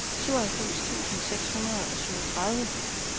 syvoghalvfems tusind seks hundrede og syvogtredive